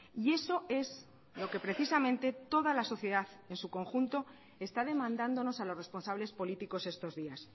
y eso es lo que precisamente toda la sociedad en su conjunto está demandándonos a los responsables políticos estos días